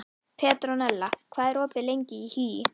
Petronella, hvað er opið lengi í HÍ?